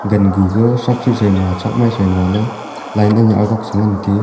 gangu ga thrakthre thrai ma thrakmai mailey line ning e agok chengan tiu.